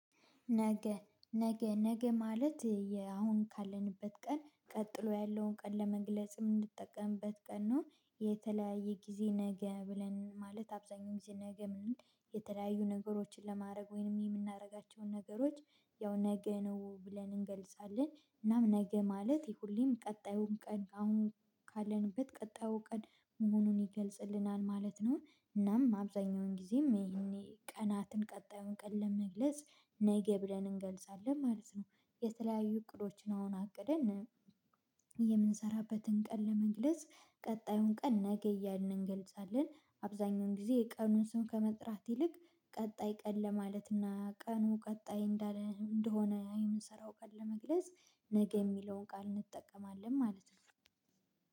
ነገ ነገ ነገ ማለት የአሁን ካለንበት ቀን ቀጥሎ ያለውን ቀን ለመግለጽ ምንጠቀምበት ቀን ነው የተለያየ ጊዜ ነገ ብለን ማለት አብዛኛው ጊዜ ነገ ምንም የተለያዩ ነገሮችን ለማድረግ ወይንም የምናደርጋቸውን ነገሮች ያው ነገ ነው ብለን እንገልጻለን እናም ነገ ማለት ይሄ ሁሌም ቀጣዩን ቀን አሁን ካለንበት ቀጣዩ ቀን መሆኑን ይገልጽልናል ማለት ነው። እናም አብዛኛውን ጊዜም ይሄኔ ቀናትን ቀጣዩን ቀን ለመግለጽ ነገ ብለን እንገልጻለን ማለት ነው። የተለያዩ እቅዶችን አሁን አቅደን የምንሰራበትን ቀን ለመግለጽ ቀጣዩን ቀን ነገ እያልን እንገልጻለን። አብዛኛውን ጊዜ የቀኑን ስም ከመጥራት ይልቅ ቀጣይ ቀን ለማለትና ቀኑ ቀጣይ እንደሆነ እኔ ምሰራው ቀን ለመግለጽ ነገ የሚለውን ቃል እንጠቀማለን ማለት ነው።